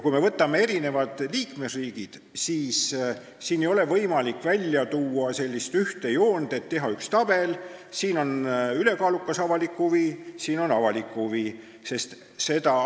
Kui me võtame eri liikmesriigid, siis ei ole võimalik välja tuua sellist ühte joont, teha ühte tabelit, et siin on ülekaalukas avalik huvi, siin on avalik huvi jne.